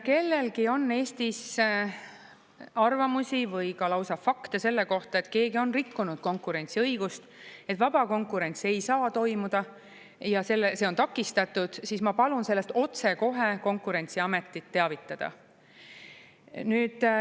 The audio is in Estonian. Kui kellelgi on Eestis arvamusi või ka lausa fakte selle kohta, et keegi on rikkunud konkurentsiõigust, et vaba konkurents ei saa toimuda ja see on takistatud, siis ma palun sellest otsekohe Konkurentsiametit teavitada.